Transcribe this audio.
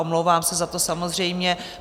Omlouvám se za to, samozřejmě.